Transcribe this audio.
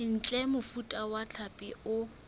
ntle mofuta wa hlapi o